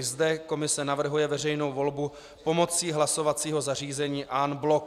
I zde komise navrhuje veřejnou volbu pomocí hlasovacího zařízení en bloc.